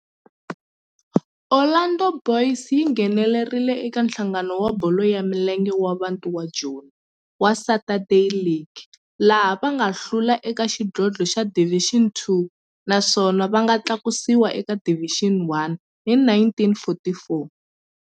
Orlando Boys yi nghenelerile eka Nhlangano wa Bolo ya Milenge wa Bantu wa Joni wa Saturday League, laha va nga hlula eka xidlodlo xa Division Two naswona va nga tlakusiwa eka Division One hi 1944.